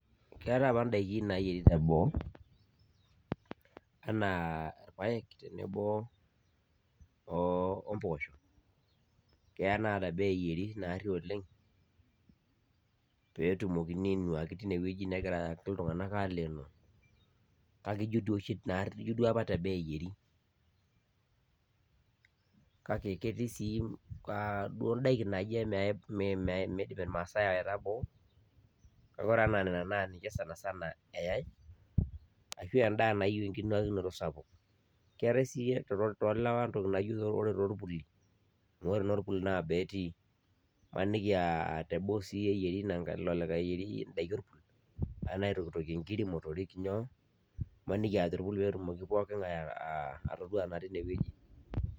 Keetae apa daiki nayieri teboo, enaa irpaek tenebo ompoosho, keya naa teboo eyieri naarri oleng, petumokini ainuaki tinewueji negira iltung'anak alenoo, kake ijo duo oshi naarri teboo eyieri. Kake ketii si imbaa duo daiki naijo midim irmaasai aita boo, kake ore enaa nena na ninche sanasana eyai, ashu endaa nayieu enkinuakinoto sapuk. Keetae si tolewa entoki naijo ore torpuli, amu ore norpul naa boo etii. Imaniki aah teboo si eyieri ilo likae eyierieki daikin, anaa aitokitokie nkiri motorik nyoo, maniki ah torpul petumoki pooking'ae atodua naa tinewueji.